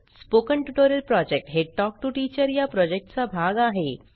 spoken tutorial project हे talk to teacher या प्रॉजेक्टचा भाग आहे